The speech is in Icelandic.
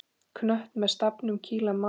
Knött með stafnum kýla má.